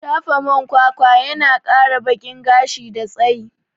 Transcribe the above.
Shafa mai kwakwa yana kara bakin gashi da tsayi